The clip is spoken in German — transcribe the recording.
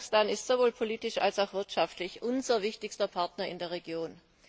Kasachstan ist sowohl politisch als auch wirtschaftlich unser wichtigster Partner in der Region.